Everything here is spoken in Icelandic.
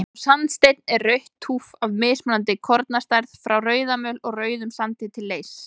Sá sandsteinn er rautt túff af mismunandi kornastærð, frá rauðamöl og rauðum sandi til leirs.